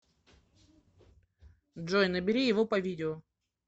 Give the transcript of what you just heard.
джой набери его по видео